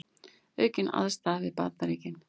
Aukin andstaða við Bandaríkin